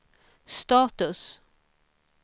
status